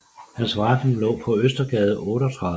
Hans forretning lå på Østergade 38